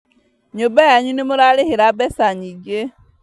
Nyũmba yanyu nĩmũrarĩhĩra mbeca nyingĩ